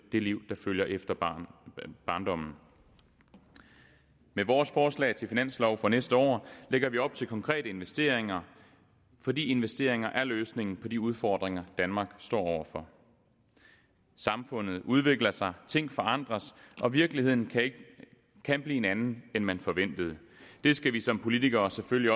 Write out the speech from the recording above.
det liv der følger efter barndommen med vores forslag til finanslov for næste år lægger vi op til konkrete investeringer fordi investeringer er løsningen på de udfordringer danmark står over for samfundet udvikler sig ting forandres og virkeligheden kan blive en anden end man forventede det skal vi som politikere selvfølgelig